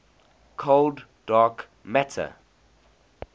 cold dark matter